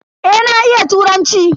Eh na iya turanci.